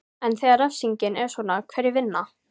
En þegar refsingin er svona, hverjir vinna?